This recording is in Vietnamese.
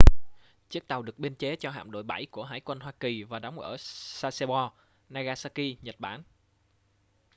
chiếc tàu được biên chế cho hạm đội 7 của hải quân hoa kỳ và đóng ở sasebo nagasaki nhật bản